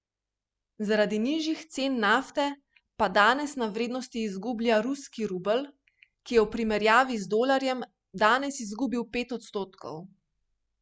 Zaradi nižjih cen nafte pa danes na vrednosti izgublja ruski rubelj, ki je v primerjavi z dolarjem danes izgubil pet odstotkov.